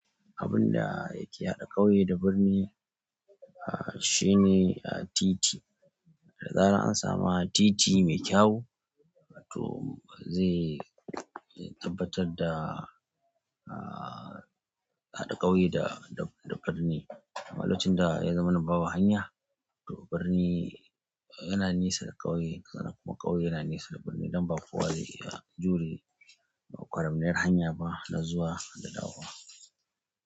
Abin da yake haɗa ƙauye da birni, ah, shine, ah, titi. Da zaran an samu titi mai kyau, to zai, zai tabbatar da, ah, haɗa ƙauye da, da birni. A lokacin da ya zamana babu hanya, to birni yana nesa da ƙauye, sannan kuma ƙauye yana nesa da birni, don baƙowa zai, iya, jure kwaramniyar hanya ba na zuwa da kahahuwa.